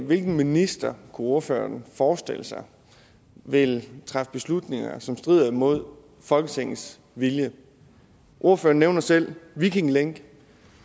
hvilken minister kunne ordføreren forestille sig vil træffe beslutninger som strider imod folketingets vilje ordføreren nævner selv viking link